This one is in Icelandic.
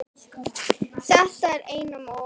Þetta er einum of,